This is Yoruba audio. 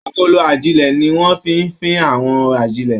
Agolo ajilẹ̀ ní wọn fí n fín àwọn ajilẹ̀.